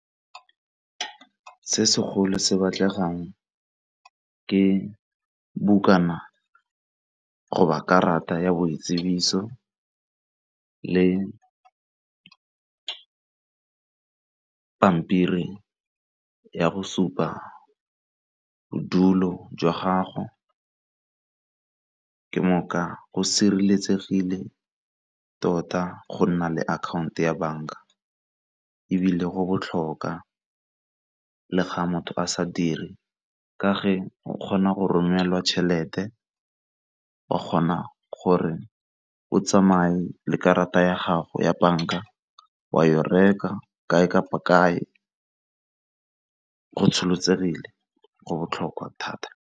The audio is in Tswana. Se segolo se batlegang ke bukana go ba karata ya boitsibiso le pampiri ya go supa bodulo jwa gago ke moka go sireletsegile tota go nna le akhaonto ya banka ebile go botlhokwa le ga motho a sa dire ka ge o kgona go romelelwa tšhelete wa kgona gore o tsamaye le karata ya gago ya banka wa ya go reka kae kapa kae go tsholetsegile, go botlhokwa thata.